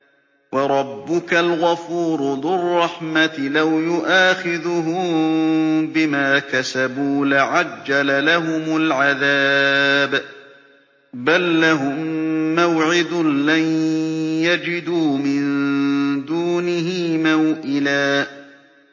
وَرَبُّكَ الْغَفُورُ ذُو الرَّحْمَةِ ۖ لَوْ يُؤَاخِذُهُم بِمَا كَسَبُوا لَعَجَّلَ لَهُمُ الْعَذَابَ ۚ بَل لَّهُم مَّوْعِدٌ لَّن يَجِدُوا مِن دُونِهِ مَوْئِلًا